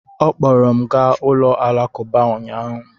Ọ kpọọrọ m gaa ụlọ alakụba ụnyahụ.